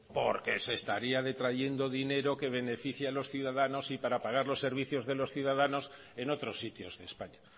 porque se estaría detrayendo dinero que beneficia a los ciudadanos y para pagar los servicios de los ciudadanos en otros sitios de españa